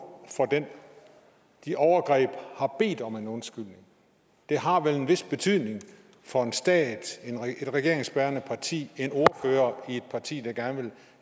de overgreb har bedt om en undskyldning det har vel en vis betydning for en stat et regeringsbærende parti en ordfører i et parti der gerne vil